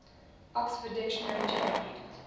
oxford dictionary changed